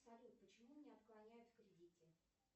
салют почему мне отклоняют в кредите